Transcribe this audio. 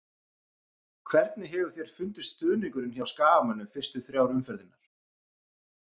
Hvernig hefur þér fundist stuðningurinn hjá skagamönnum fyrstu þrjár umferðirnar?